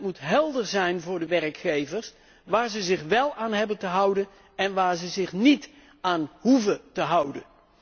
En het moet helder zijn voor de werkgevers waar ze zich wel aan hebben te houden en waar ze zich niet aan hoeven te houden.